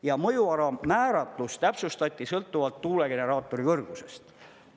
Ja mõjuala määratlus täpsustati sõltuvalt tuulegeneraatori kõrgusest.